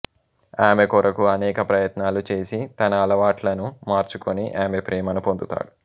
ఆమె కొరకు అనేక ప్రయత్నాలు చేసి తన అలవాట్లను మార్చుకొని ఆమె ప్రేమను పొందుతాడు